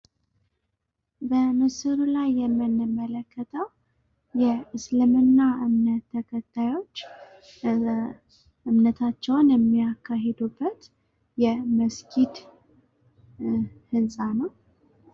በምስሉ ላይ የምንመለከተው እስልምና እምነት ተከታዮች እምነታቸውን የሚያካሄዱበት የመስጊድ ህንጻ ነው።